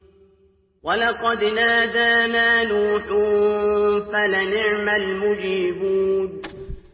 وَلَقَدْ نَادَانَا نُوحٌ فَلَنِعْمَ الْمُجِيبُونَ